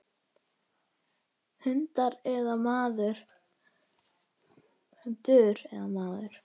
Hundur eða maður.